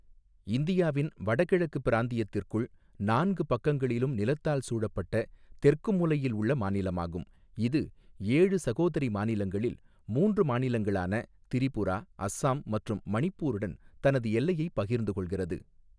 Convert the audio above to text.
இந்தியாவின் வடகிழக்கு பிராந்தியத்திற்குள், நான்கு பக்கங்களிலும் நிலத்தால் சூழப்பட்ட தெற்கு மூலையில் உள்ள மாநிலமாகும், இது ஏழு சகோதரி மாநிலங்களில் மூன்று மாநிலங்களான திரிபுரா, அஸ்ஸாம் மற்றும் மணிப்பூருடன் தனது எல்லையைப் பகிர்ந்து கொள்கிறது.